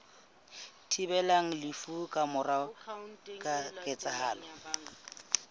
thibelang lefu ka mora ketsahalo